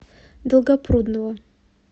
долгопрудного